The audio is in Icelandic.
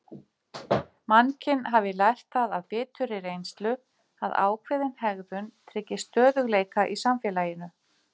Mannkyn hafi lært það af biturri reynslu að ákveðin hegðun tryggi stöðugleika í samfélaginu.